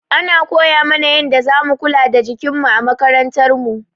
Ana koya mana yanda za mu kula da jikin mu a makarantar mu.